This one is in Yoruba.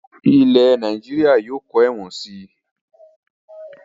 Ilẹ̀ Nàìjíríà yìí ó kọ́ ẹ̀wọ̀n sii